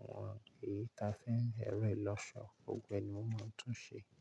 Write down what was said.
àwọn èyí ta fi n, ẹ̀ro lọ́ṣọ̀ọ́, gbògbóe ni mo máa ń tún ṣe.